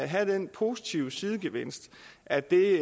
have den positive sidegevinst at det